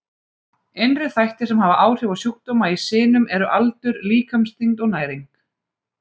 Innri þættir sem hafa áhrif á sjúkdóma í sinum eru aldur, líkamsþyngd og næring.